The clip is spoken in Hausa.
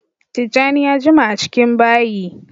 Tijjani ya jima a cikin bayi